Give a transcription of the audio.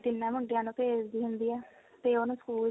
ਤਿੰਨਾ ਮੁੰਡਿਆਂ ਨੂੰ ਭੇਜਦੀ ਹੁੰਦੀ ਆ ਤੇ ਉਹਨੂੰ ਸਕੂਲ